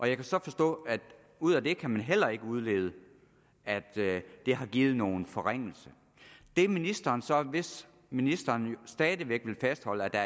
jeg kan så forstå at ud af det kan man heller ikke udlede at det har givet nogen forringelse det ministeren så hvis ministeren stadig væk vil fastholde at der